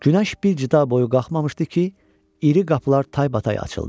Günəş bir cida boyu qalxmamışdı ki, iri qapılar taybatay açıldı.